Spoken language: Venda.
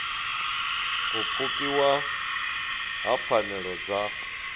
u pfukiwa ha pfanelo dza